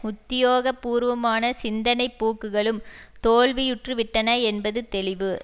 உத்தியோகபூர்வமான சிந்தனை போக்குகளும் தோல்வியுற்றுவிட்டன என்பது தெளிவு